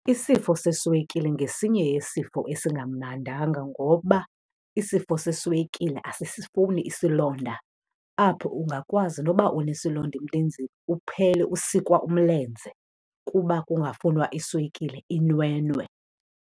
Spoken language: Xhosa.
Isifo seswekile ngesinye isifo esingamnandanga ngoba isifo seswekile asisifuni isilonda. Apho ungakwazi noba unesilonda emlenzeni, uphele usikwa umlenze kuba kungafunwa iswekile inwenwe.